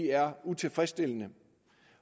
er utilfredsstillende